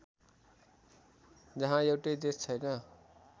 जहाँ एउटै देश छैन